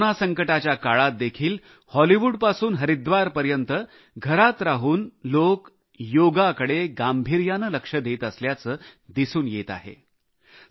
सध्या कोरोना संकटाच्या काळात देखील हॉलिवूडपासून हरिद्वारपर्यंत घरात राहून लोक योगकडे गांभीर्याने लक्ष देत असल्याचे दिसून येत आहे